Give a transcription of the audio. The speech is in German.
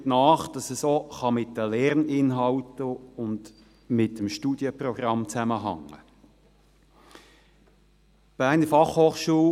Die Vermutung liegt nahe, dass es auch mit den Lerninhalten und dem Studienprogramm zusammenhängen kann.